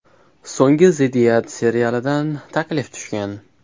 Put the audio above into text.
So‘nggi ziddiyat” serialidan taklif tushgan.